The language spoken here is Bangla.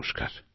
নমস্কার